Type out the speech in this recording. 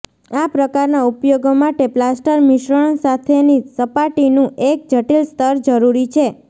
આ પ્રકારના ઉપયોગો માટે પ્લાસ્ટર મિશ્રણ સાથેની સપાટીનું એક જટિલ સ્તર જરૂરી છે